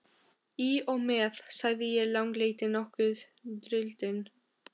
Í og með, sagði sá langleiti, nokkuð drýldinn.